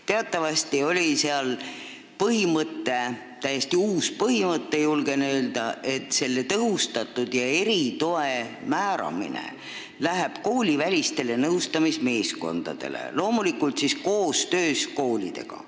Teatavasti oli seal põhimõte – täiesti uus põhimõte, julgen öelda –, et tõhustatud ja eritoe määramine läheb koolivälistele nõustamismeeskondadele, loomulikult koostöös koolidega.